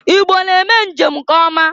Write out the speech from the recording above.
Igbo na-eme njem nke ọma.